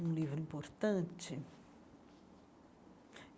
Um livro importante?